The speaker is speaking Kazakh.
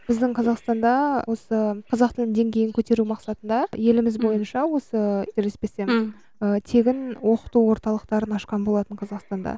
біздің қазақстанда осы қазақ тілінің деңгейін көтеру мақсатында еліміз бойыншы осы қателеспесем ы тегін оқыту орталықтарын ашқан болатын қазақстанда